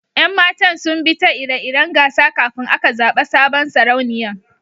Yan matan zun bi ta ire-iren gasa kafin aka zaba sabon Sarauniyan.